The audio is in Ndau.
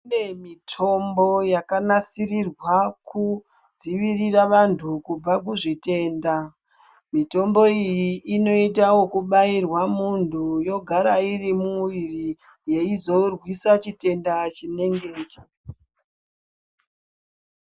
Kune mitombo yakanasirirwa kudzivirira vanthu kubva kuzvitenda mitombo iyi inoita okubairirwa munthu yogara irimuviri yeizorwisa chitenda chinenge chiri mumwiri.